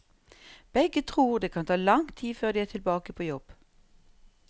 Begge tror det kan ta lang tid før de er tilbake på jobb.